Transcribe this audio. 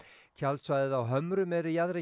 tjaldsvæðið á Hömrum er í jaðri